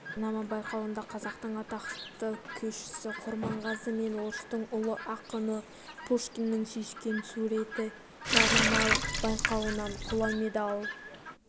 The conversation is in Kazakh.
жарнама байқауында қазақтың атақты күйшісі құрманғазы мен орыстың ұлы ақыны пушкиннің сүйіскен суреті жарнама байқауынан қола медаль